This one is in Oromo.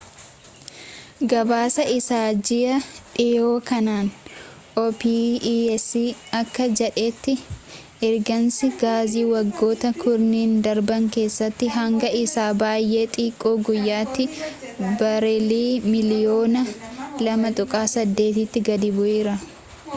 gabaasa isaa ji'aa dhihoo kanaan opec akka jedhetti ergiinsi gaazii waggoota kurnan darban keessatti hanga isa baay'ee xiqqoo guyyaatti bareelii miliyyoona 2.8 tti gadi bu'eera